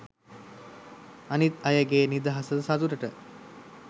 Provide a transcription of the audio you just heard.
අනිත් අයගෙ නිදහසට සතුටට